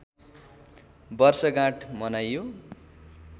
वर्षगाँठ मनाइयो